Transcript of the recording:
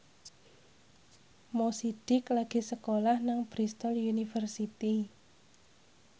Mo Sidik lagi sekolah nang Bristol university